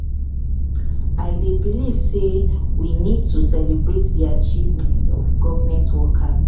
i dey believe say we need to need to celebrate di achievement of government workers.